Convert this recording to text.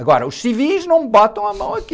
Agora, os civis não botam a mão aqui.